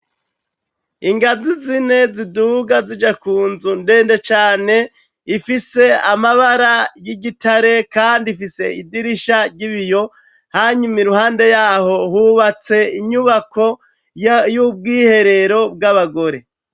Ingazi zine ziduga zija ku nzu ndende cane, ifise amabara y'igitare kandi ifise idirisha ry'ibiyo, hanyuma i ruhande yaho hubatse inyubako y'ubwiherero bw'abagore.